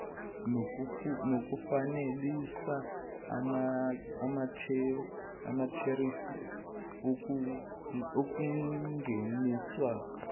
nokufanelisa amatherifi okungeniswa